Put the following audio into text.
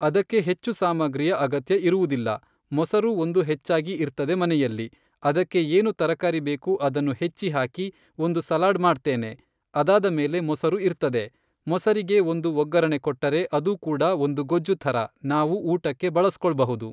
ಅದಕ್ಕೆ ಹೆಚ್ಚು ಸಾಮಗ್ರಿಯ ಅಗತ್ಯ ಇರುವುದಿಲ್ಲ ಮೊಸರು ಒಂದು ಹೆಚ್ಚಾಗಿ ಇರ್ತದೆ ಮನೆಯಲ್ಲಿ ಅದಕ್ಕೆ ಏನು ತರಕಾರಿ ಬೇಕು ಅದನ್ನು ಹೆಚ್ಚಿ ಹಾಕಿ ಒಂದು ಸಲಾಡ್ ಮಾಡ್ತೇನೆ ಅದಾದ ಮೇಲೆ ಮೊಸರು ಇರ್ತದೆ ಮೊಸರಿಗೆ ಒಂದು ಒಗ್ಗರಣೆ ಕೊಟ್ಟರೆ ಅದು ಕೂಡ ಒಂದು ಗೊಜ್ಜು ಥರ ನಾವು ಊಟಕ್ಕೆ ಬಳಸ್ಕೊಳ್ಬಹುದು.